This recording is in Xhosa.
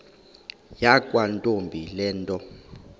yakwantombi le nto